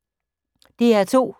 DR2